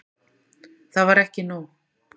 Það var ekki nóg.